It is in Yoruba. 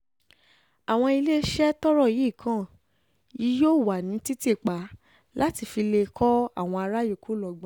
àwọn iléeṣẹ́ tọ́rọ̀ yìí kan yìí yóò wà ní títì pa láti lè fi kọ́ àwọn ará yòókù lọ́gbọ́n